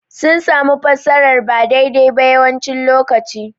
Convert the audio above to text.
Sun samu fassarar ba daidai ba yawancin lokaci.